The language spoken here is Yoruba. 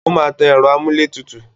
Ó máa tan ẹ̀rọ amúlétutù.